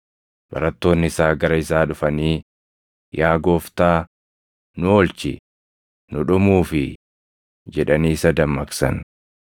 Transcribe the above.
Barattoonni isaa gara isaa dhufanii, “Yaa Gooftaa, nu oolchi! Nu dhumuufii!” jedhanii isa dammaqsan.